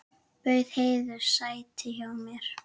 Bauð Heiðu sæti hjá mér.